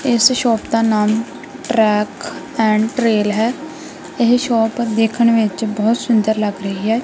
ਇਸ ਸ਼ੋਪ ਦਾ ਨਾਮ ਟਰੈਕ ਐਂਡ ਟਰੇਲ ਹੈ ਇਹ ਸ਼ੋਪ ਵੇਖਣ ਵਿੱਚ ਬਹੁਤ ਸੁੰਦਰ ਲੱਗ ਰਹੀ ਹੈ।